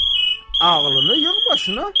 ağlını yığ başına!